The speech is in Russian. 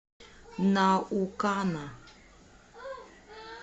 наукана